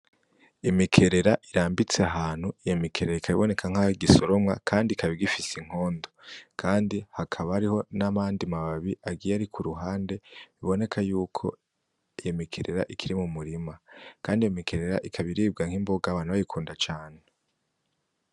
Imikerera irambitse hantu iye mikerera ikabiboneka nk'aho igisoromwa, kandi kaba igifise inkondo, kandi hakaba ariho n'amandi mababi agiye ari ku ruhande biboneka yuko iye mikerera ikiri mu murima, kandi imikerera ikabiribwa nk'imboga bantu bayikunda cane.